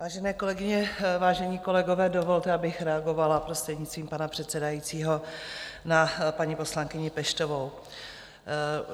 Vážené kolegyně, vážení kolegové, dovolte, abych reagovala, prostřednictvím pana předsedajícího, na paní poslankyni Peštovou.